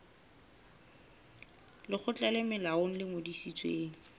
lekgotla le molaong le ngodisitsweng